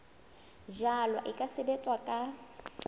jalwa e ka sebetswa ka